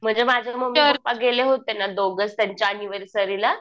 म्हणजे माझे mummy papa गेले होते ना दोघेच त्यांच्या ऍनिव्हर्सरीला